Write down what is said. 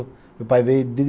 Meu pai veio de